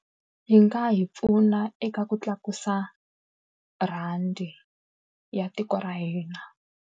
Yi nga hi pfuna eka ku tlakusa rhandi ya tiko ya hina.